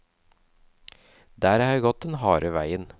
Der har jeg gått den harde veien.